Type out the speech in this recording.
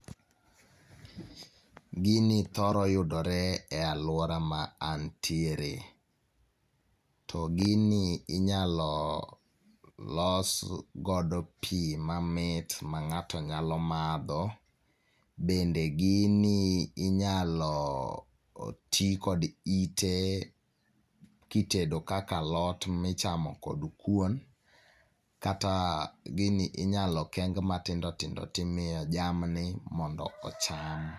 Gini thoro yudore e alwora ma antiere. To gini inyalo los godo pi mamit ma ng'ato nyalo madho bende gini inyalo ti kod ite kitedo kaka alot michamo kod kuon, kata gini inyalo keng matindotindo timiyo jamni mondo ocham.